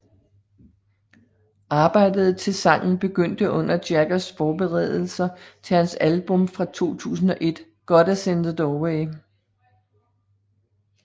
Arbejdet til sangen begyndte under Jaggers forberedelser til hans album fra 2001 Goddess in the Doorway